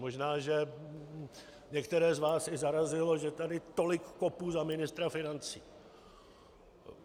Možná že některé z vás i zarazilo, že tady tolik kopu za ministra financí.